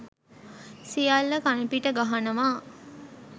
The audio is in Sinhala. සියල්ල කණපිට ගහනවා.